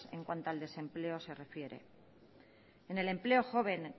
en cuanto al desempleo se refiere en el empleo joven